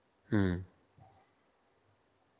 হম.